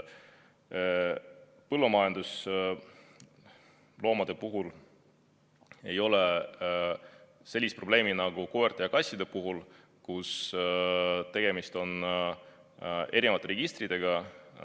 Põllumajandusloomade puhul ei ole sellist probleemi nagu koerte ja kassidega, kes on kantud eri registritesse.